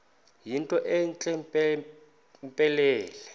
yinto entle mpelele